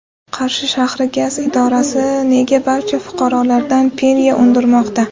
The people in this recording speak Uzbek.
Qarshi shahri gaz idorasi nega barcha fuqarolardan penya undirmoqda?.